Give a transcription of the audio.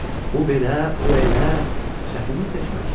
Bu belə, o elə, çətindir seçmək.